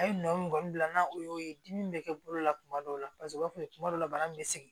A ye nɔ kɔni bila n'a o y'o ye dimi bɛ kɛ bolo la tuma dɔw la paseke u b'a fɔ kuma dɔw la bana min bɛ sigi